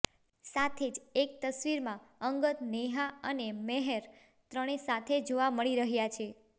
સાથે જ એક તસ્વીરમાં અંગદ નેહા અને મેહર ત્રણે સાથે જોવા મળી રહ્યા છે